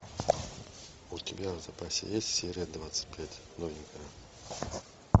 у тебя в запасе есть серия двадцать пять новенькая